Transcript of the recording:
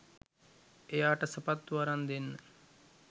එයාට සපත්තු අරන් දෙන්න